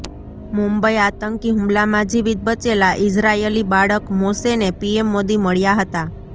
મુંબઈ આતંકી હુમલામાં જીવિત બચેલા ઇઝરાયલી બાળક મોશેને પીએમ મોદી મળ્યા હતા